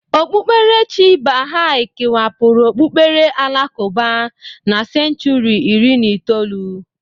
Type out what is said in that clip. Okpukperechi baha'i kewapụrụ n'okpukpere alakụba na senchuri iri na itoolu